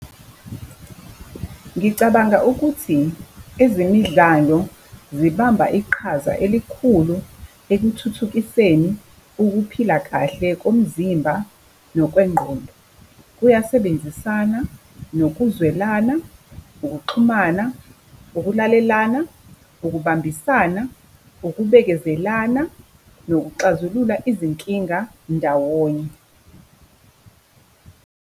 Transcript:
Ngicabanga ukuthi ezemidlalo zibamba iqhaza elikhulu ekuthuthukiseni ukuphila kahle komzimba nokwengqondo. Kuyasebenzisana nokuzwelana, ukuxhumana, ukulalelana, ukubambisana, ukubekezelana, nokuxazulula izinkinga ndawonye.